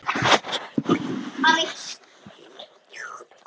Þetta er falleg saga.